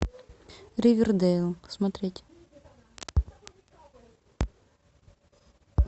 ривердэйл смотреть